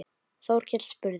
Þórkell spurði